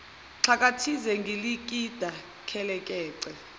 xhakathisi gilikidi khelekece